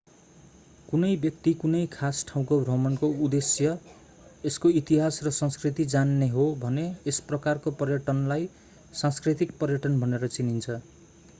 कुनै व्यक्ति कुनै खास ठाउँको भ्रमणको उद्देश्य यसको इतिहास र संस्कृति जान्ने हो भने यस प्रकारको पर्यटनलाई सांस्कृतिक पर्यटन भनेर चिनिन्छ